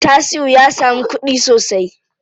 Tasi'u ya samu kuɗi sosai.